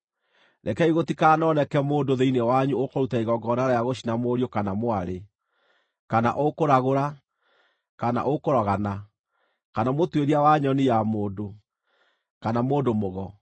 Rekei gũtikanoneke mũndũ thĩinĩ wanyu ũkũruta igongona rĩa gũcina mũriũ kana mwarĩ, kana ũkũragũra, kana ũkũrogana, kana mũtuĩria wa nyoni ya mũndũ, kana mũndũ-mũgo,